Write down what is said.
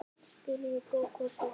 spurði Gógó kát.